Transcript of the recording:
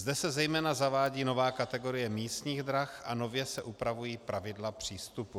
Zde se zejména zavádí nová kategorie místních drah a nově se upravují pravidla přístupu.